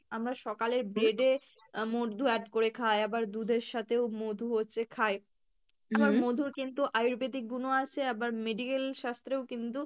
জিনিস আমরা সকালের bread এ মধু add করে খাই আবার দুধের সাথেও মধু হচ্ছে খাই আবার মধুর কিন্তু আয়ুর্বেদিক গুনও আছে আবার medical শাস্ত্রেও কিন্তু